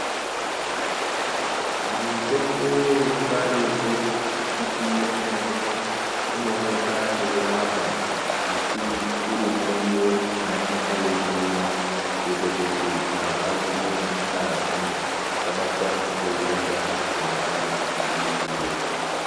Mitombo yechibarirwe ndikiti yemene inooneka yeirapa asi uri muriwo unongane weiryiwa kuitira kuti anthu agwinye ngazi asabatwa ngeutenda hunongana hweiuya.